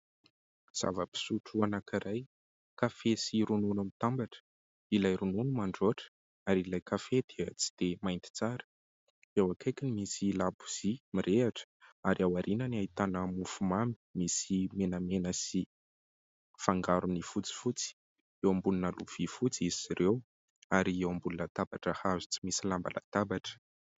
Zava-pisotro anankiray kafe sy ronona mitambatra : ilay ronono mandroatra ary ilay kafe dia tsy dia mainty tsara, eo akaikiny misy labozia mirehitra ary ao aoriana no ahitana mofomamy misy menamena sy fangarony fotsifotsy, eo ambonina lovia fotsy izy ireo ary eo ambony latabatra hazo tsy misy lamba latabatra.